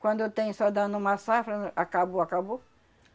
Quando tem só dando uma safra na, acabou, acabou.